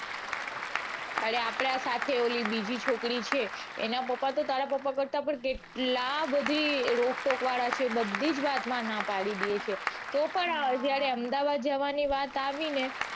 અરે આપડા સાથે ઓલી બીજી છોકરી છે એના પપા તો તારા પપા કરતા પણ કેટલા બધા રોકટોક વાળા છે બધી જ વાત માં ના પડી છે. તો પણ જયારે અમદાવાદ જવાની વાત આવી ને